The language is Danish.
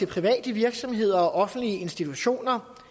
private virksomheder og offentlige institutioner